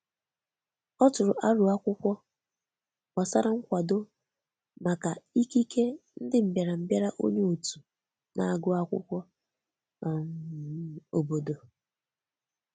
O tụrụ aro akwụkwọ gbasara nkwado maka ikike ndị mbịarambịa nye òtù na-agụ akwụkwọ um obodo.